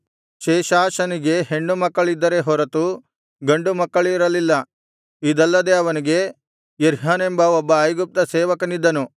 ಶೇಷಾನನಿಗೆ ಹೆಣ್ಣು ಮಕ್ಕಳಿದ್ದರೇ ಹೊರತು ಗಂಡು ಮಕ್ಕಳಿರಲಿಲ್ಲ ಇದಲ್ಲದೆ ಅವನಿಗೆ ಯರ್ಹನೆಂಬ ಒಬ್ಬ ಐಗುಪ್ತ ಸೇವಕನಿದ್ದನು